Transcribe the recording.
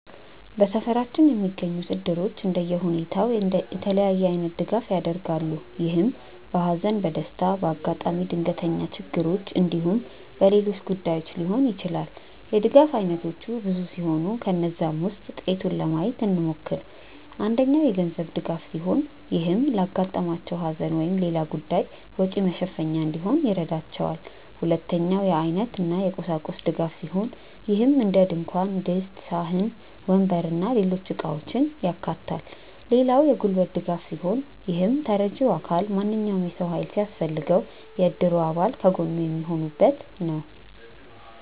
በሰፈራችን የሚገኙት እድሮች እንደየሁኔታው የተለያየ አይነት ድጋፍ ያደርጋሉ። ይህም በሃዘን፣ በደስታ፣ በአጋጣሚ ድንገተኛ ችግሮች እንዲሁም በሌሎች ጉዳዮች ሊሆን ይችላል። የድጋፍ አይነቶቹ ብዙ ሲሆኑ ከነዛም ውስጥ ጥቂቱን ለማየት እንሞክር። አንደኛው የገንዘብ ድጋፍ ሲሆን ይህም ለአጋጠማቸው ሃዘን ወይም ሌላ ጉዳይ ወጪ መሸፈኛ እንዲሆን ይረዳቸዋል። ሁለተኛው የአይነት እና የቁሳቁስ ድጋፍ ሲሆን ይህም እንደድንኳን ድስት፣ ሳህን፣ ወንበር እና ሌሎች እቃውችን ያካታል። ሌላው የጉልበት ድጋፍ ሲሆን ይህም ተረጂው አካል ማንኛውም የሰው ሃይል ሲያስፈልገው የእድሩ አባል ከጎኑ የሚሆኑበት ነው።